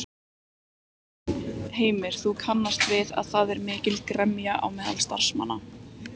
Heimir: Þú kannast við að það er mikil gremja á meðal starfsmanna?